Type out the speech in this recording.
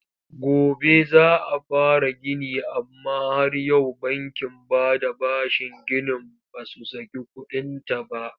Gobe za a fara gini amma har yau bankin bada bashin ginin ba su saki kuɗinta ba.